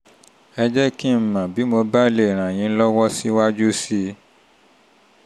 ẹ jẹ́ kí n mọ̀ bí mo bá lè mo bá lè ràn yín lọ́wọ́ síwájú sí i